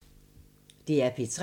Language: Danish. DR P3